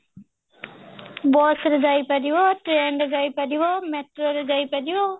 bus ରେ ଯାଇପାରିବ train ରେ ଯାଇପାରିବ metro ରେ ଯାଇପାରିବ